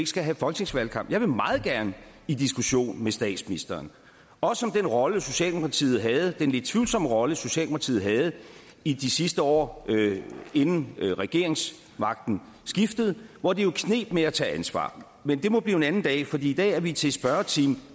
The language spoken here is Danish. skal have folketingsvalgkamp jeg vil meget gerne i diskussion med statsministeren også om den rolle socialdemokratiet havde den lidt tvivlsomme rolle socialdemokratiet havde i de sidste år inden regeringsmagten skiftede hvor det jo kneb med at tage ansvar men det må blive en anden dag fordi i dag er vi til spørgetime